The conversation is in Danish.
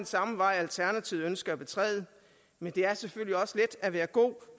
samme vej alternativet ønsker at betræde men det er selvfølgelig også let at være god